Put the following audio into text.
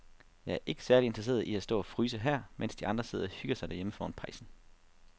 Jeg er ikke særlig interesseret i at stå og fryse her, mens de andre sidder og hygger sig derhjemme foran pejsen.